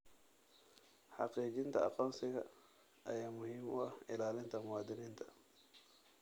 Xaqiijinta aqoonsiga ayaa muhiim u ah ilaalinta muwaadiniinta.